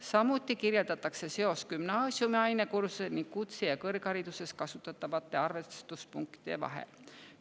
Samuti kirjeldatakse seost gümnaasiumi ainekursuse ning kutse‑ ja kõrghariduses kasutatavate arvestuspunktide vahel.